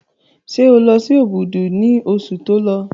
Ṣé o lọ sí Òbùdù ní oṣù tí o lọ?